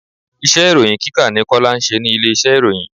Iṣẹ́ ìròhìn kíkà ni Kọ́lá ń ṣe ní ilé iṣẹ́ ìròyìn.